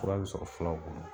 Fura bi sɔrɔ fulaw bolo.